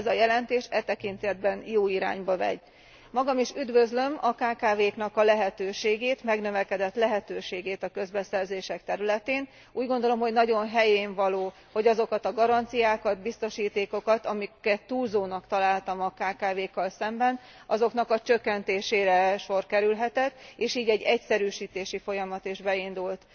Ez a jelentés e tekintetben jó irányba megy. Magam is üdvözlöm a kkv knak a lehetőségét, megnövekedett lehetőségét a közbeszerzések területén. Úgy gondolom, hogy nagyon helyénvaló, hogy azokat a garanciákat, biztosítékokat, amiket túlzónak találtam a kkv kkal szemben, azoknak a csökkentésére sor kerülhetett, és így egy egyszerűsítési folyamat is beindult.